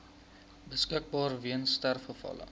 beskikbaar weens sterfgevalle